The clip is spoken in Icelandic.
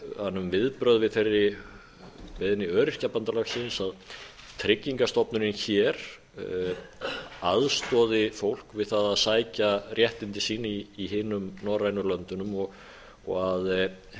hann um viðbrögð við þeirri beiðni öryrkjabandalagsins að tryggingastofnunin hér aðstoði fólk við það að sækja réttindi sín í hinum norrænu löndunum og að